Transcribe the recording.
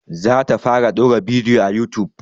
Za ta fara ɗaura bidiyo a youtube